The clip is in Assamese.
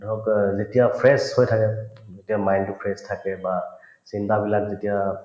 যেতিয়া fresh হৈ থাকে যেতিয়া mine তো fresh থাকে বা চিন্তাবিলাক যেতিয়া